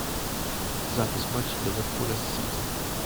запись матча ливерпуля с сити